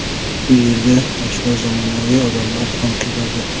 Bu yerga yoshlar, zamonaviy odamlar ham keladi.